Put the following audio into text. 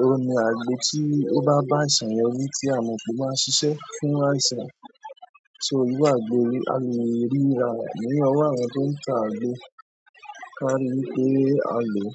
òun ni àgbo tí ó bá bá àìsàn yẹn wí tí a mọ̀ pé ó máa ń ṣiṣẹ́ fún àìsàn. So irú àgbo yìí, a lè rí i rà ní ọwọ́ àwọn tó ń ta àgbo. Ká ríi wípé a lòó.